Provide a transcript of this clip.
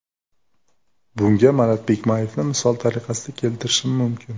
Bunga Marat Bikmayevni misol tariqasida keltirishim mumkin.